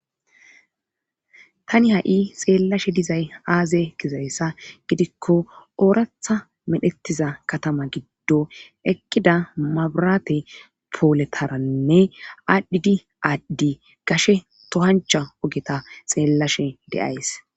tani ha7i xeellashe dizay aaze gizayssa gidikko ooratha medhettiza katama giddo ekkida mabrate pooletaranne aadhdhidi aadddi gashe tohancha ogeta xeellashe deays